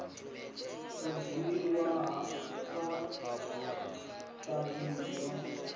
u dzhiwa sa tshavhi yo